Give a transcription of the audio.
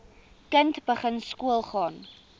kind begin skoolgaan